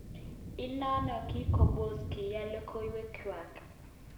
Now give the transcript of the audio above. Inonon kikobos kiyan lokowek ngwak.